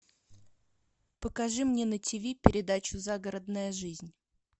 покажи мне на ти ви передачу загородная жизнь